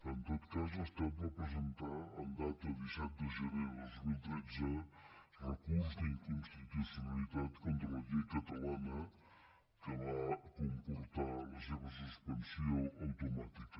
en tot cas l’estat va presentar amb data disset de gener de dos mil tretze recurs d’inconstitucionalitat contra la llei catalana que va comportar la seva suspensió automàtica